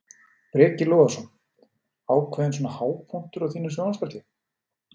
Breki Logason: Ákveðinn svona hápunktur á þínum sjónvarpsferli?